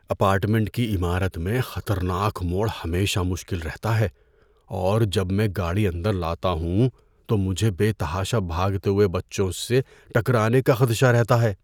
Apartment کی عمارت میں خطرناک موڑ ہمیشہ مشکل رہتا ہے اور جب میں گاڑی اندر لاتا ہوں تو مجھے بے تحاشا بھاگتے ہوئے بچوں سے ٹکرانے کا خدشہ رہتا ہے۔